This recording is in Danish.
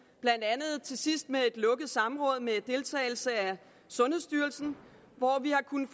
blandt andet til sidst med et lukket samråd med deltagelse af sundhedsstyrelsen hvor vi har kunnet